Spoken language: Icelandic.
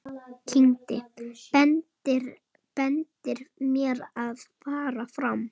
Bendir mér að fara fram.